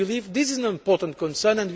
We believe this is an important concern.